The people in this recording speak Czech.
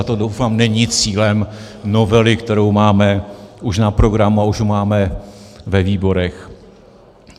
A to, doufám, není cílem novely, kterou máme už na programu a už ji máme ve výborech.